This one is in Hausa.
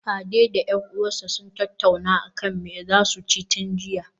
Ade da 'yar uwarsa sun tattauna akan me zasu ci tun jiya